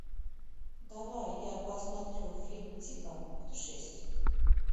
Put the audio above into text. давай я посмотрю фильм типа путешествий